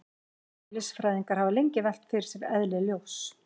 Eðlisfræðingar hafa lengi velt fyrir sér eðli ljóss.